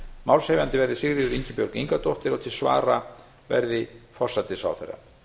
málshefjandi verði sigríður ingibjörg ingadóttir og til svara verði forsætisráðherra